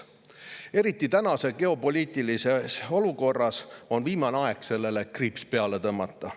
Eriti tänases geopoliitilises olukorras on viimane aeg sellele kriips peale tõmmata.